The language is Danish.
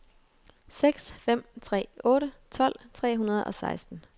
seks fem tre otte tolv tre hundrede og seksten